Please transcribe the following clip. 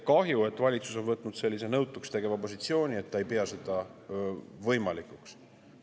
Kahju, et valitsus on võtnud sellise nõutuks tegeva positsiooni, et ta ei pea seda võimalikuks.